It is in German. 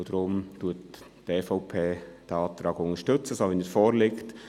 Deshalb unterstützt die EVP den Antrag so, wie er vorliegt.